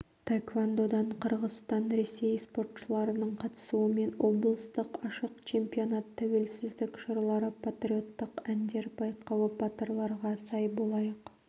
таэквандодан қырғызстан ресей спортшыларының қатысуымен облыстық ашық чемпионат тәуелсіздік жырлары патриоттық әндер байқауы батырларға сай болайық